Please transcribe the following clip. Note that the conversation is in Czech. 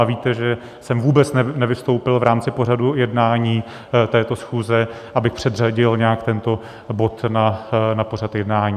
A víte, že jsem vůbec nevystoupil v rámci pořadu jednání této schůze, abych předřadil nějak tento bod na pořad jednání.